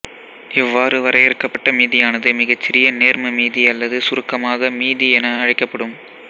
இவ்வாறு வரையறுக்கப்பட்ட மீதியானது மிகச்சிறிய நேர்ம மீதி அல்லது சுருக்கமாக மீதி என அழைக்கப்படும்